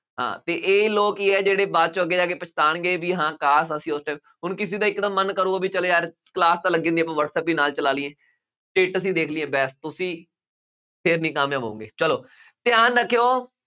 ਹਾਂ ਅਤੇ ਇਹ ਲੋਕ ਕੀ ਆ, ਜਿਹੜੇ ਬਾਅਦ ਚ ਅੱਗੇ ਜਾ ਕੇ ਪਛਤਾਉਣਗੇ ਬਈ ਹਾਂ ਕਾਸ਼ ਅਸੀਂ ਉੱਥੇ, ਹੁਣ ਕਿਸੇ ਦਾ ਇੱਕ ਦਮ ਮਨ ਕਰੂਗਾ ਬਈ ਚੱਲ ਯਾਰ class ਤਾਂ ਲੱਗੀ ਹੁੰਦੀ, ਆਪਾਂ ਵੱਟਸਐਪ ਵੀ ਨਾਲ ਚਲਾ ਲਈਏ, ਅਸੀਂ ਦੇਖ ਲਈਏ ਬਾਅਦ, ਤੁਸੀਂ ਫੇਰ ਨਹੀਂ ਕਾਮਯਾਬ ਹੋਵੋਂਗੇ, ਚੱਲੋ ਧਿਆਨ ਰੱਖਿਉਂ,